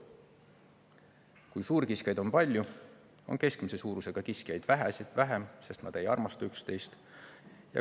Kui suurkiskjaid on palju, on keskmise suurusega kiskjaid vähem, sest nad ei armasta üksteist.